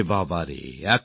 আরে বাবা রে